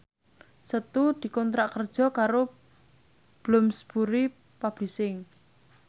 Setu dikontrak kerja karo Bloomsbury Publishing